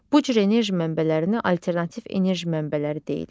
Bu cür enerji mənbələrinə alternativ enerji mənbələri deyilir.